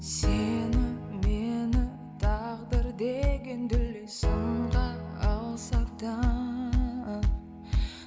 сені мені тағдыр деген дүлей сынға алса да